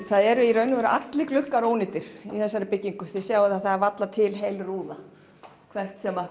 það eru í raun og veru allir gluggar ónýtir í þessari byggingu þið sjáið að það er varla til heil rúða hvort sem